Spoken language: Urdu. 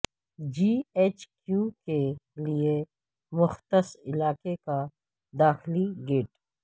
جی ایچ کیو کے لیے مختص علاقے کا داخلی گیٹ